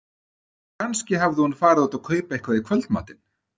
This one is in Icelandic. Kannski hafði hún farið út að kaupa eitthvað í kvöldmatinn.